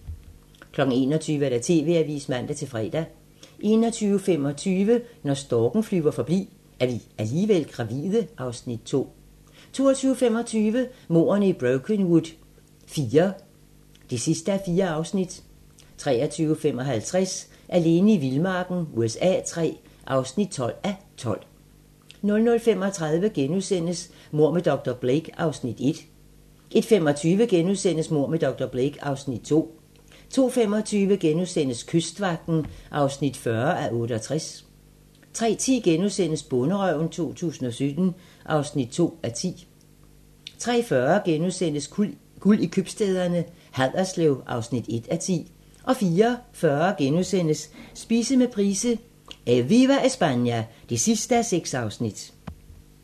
21:00: TV-avisen (man-fre) 21:25: Når storken flyver forbi - Er vi alligevel gravide? (Afs. 2) 22:25: Mordene i Brokenwood IV (4:4) 23:55: Alene i vildmarken USA III (12:12) 00:35: Mord med dr. Blake (Afs. 1)* 01:25: Mord med dr. Blake (Afs. 2)* 02:25: Kystvagten (40:68)* 03:10: Bonderøven 2017 (2:10)* 03:40: Guld i købstæderne: Haderslev (1:10)* 04:40: Spise med Price: "Eviva Espana" (6:6)*